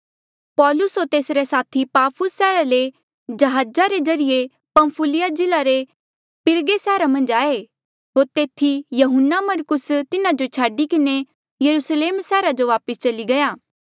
पौलुस होर तेसरे साथी पाफुस सैहरा ले जहाजा रे ज्रीए पंफुलिया जिल्ले रे पिरगा सैहरा मन्झ आये होर तेथी यहून्नामरकुस तिन्हा जो छाडी किन्हें यरुस्लेम सैहरा जो वापस चली गया